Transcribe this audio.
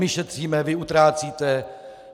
My šetříme, vy utrácíte.